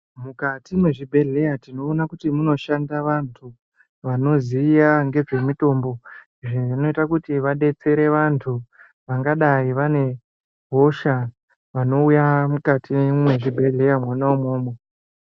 Mukati mezvibhedhleya tinoona kuti munoshanda vantu vanoziya ngezvemitombo. Izvi zvinoita kuti vadetsere vantu vangadai vane hosha vanouya mukati mwezvibhedhleya mwona imwomwo.